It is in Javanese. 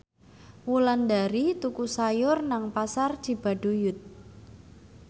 Wulandari tuku sayur nang Pasar Cibaduyut